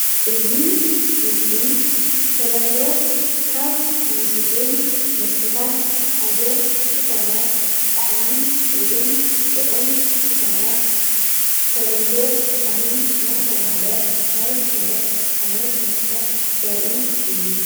እዚ ምስሊ ብተለምዶ ካብ እንሰትዮም መስተታት ሓደ ዝኾነ ብጣዕሚ እዉን ጥዑም ዝኾነ ብተለምዶ ሻሂ እናተብሃለ ናይ ዝፍለጥ ዓይነት መስተ ዘርኢ እዩ፡፡